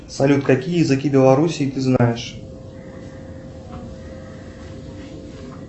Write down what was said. салют какие языки белоруссии ты знаешь